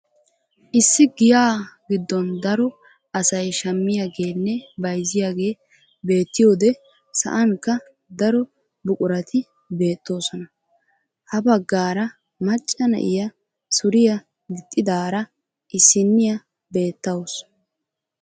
Issi giyaa giddon daro asay shammiyaagenne bayzziyaagee beettiyoode sa'ankka daro buqurati beettoosona. ha baggaara macca na'iyaa suriyaa gixxidaara issiniyaa beettawus.